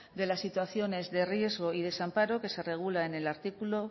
de las situaciones de riesgo y desamparo que se regula